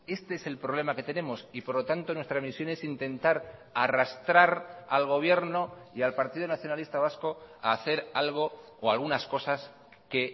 este es el problema que tenemos y por lo tanto nuestra misión es intentar arrastrar al gobierno y al partido nacionalista vasco a hacer algo o algunas cosas que